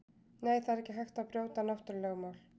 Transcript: Nei, það er ekki hægt að brjóta náttúrulögmál.